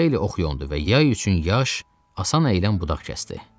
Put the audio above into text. Xeyli ox yondu və yay üçün yaş, asan əyilən budaq kəsdi.